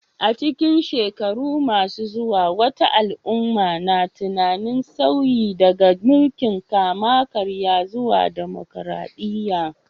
A cikin shekaru masu zuwa, wata al'umma na tunanin sauyi daga mulkin kama karya zuwa dimokuradiyya.